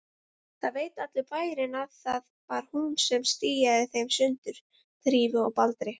Það veit allur bærinn að það var hún sem stíaði þeim sundur, Drífu og Baldri.